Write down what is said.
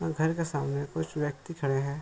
और घर के सामने कुछ व्यक्ति खड़े है।